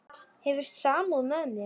Hefur samúð með mér.